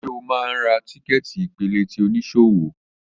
Ṣe o máa ń ra tíkẹ́ẹ̀tì ìpele ti oníṣòwò?